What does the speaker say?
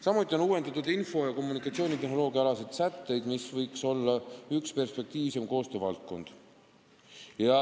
Samuti on uuendatud info- ja kommunikatsioonitehnoloogia alaseid sätteid, mis võiks olla üks perspektiivsemaid koostöövaldkondi.